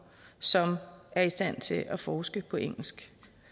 som er i stand til at forske på engelsk